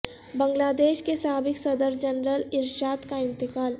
بنگلہ دیش کے سابق صدر جنرل ارشاد کا انتقال